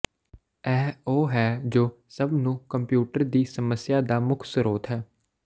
ਇਹ ਉਹ ਹੈ ਜੋ ਸਭ ਨੂੰ ਕੰਪਿਊਟਰ ਦੀ ਸਮੱਸਿਆ ਦਾ ਮੁੱਖ ਸਰੋਤ ਹੈ